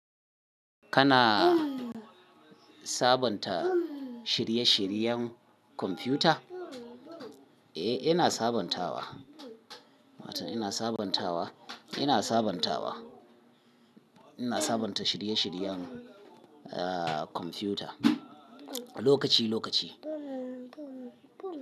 Kana sabonta shirye-shiryen kwamfuta? Eh, ina sabontawa. Mata ina sabontawa, ina sabontawa. Ina sabonta shirye-shiryen, ah, kwamfuta lokaci-lokaci.